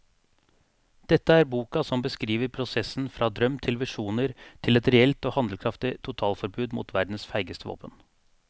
Dette er boka som beskriver prosessen fra drøm til visjoner til et reelt og handlekraftig totalforbud mot verdens feigeste våpen.